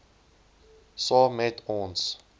saam met ons